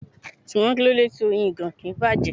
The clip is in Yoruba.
Ṣùgbọ́n kíló de tí Oyin ìgàn kì ń bàjẹ́?